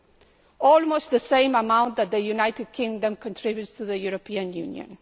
That is almost the same amount that the United Kingdom contributes to the European Union.